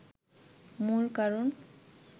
মূল কারণ